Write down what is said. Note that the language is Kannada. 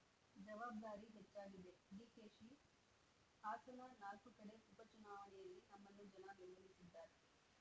ಜವಾಬ್ದಾರಿ ಹೆಚ್ಚಾಗಿದೆ ಡಿಕೆಶಿ ಹಾಸನ ನಾಲ್ಕು ಕಡೆ ಉಪ ಚುನಾವಣೆಯಲ್ಲಿ ನಮ್ಮನ್ನು ಜನ ಬೆಂಬಲಿಸಿದ್ದಾರೆ